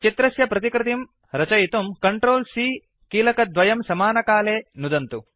चित्रस्य प्रतिकृतिं रचयितुं CTRL C कीलकद्वयं समकालमेव नुदन्तु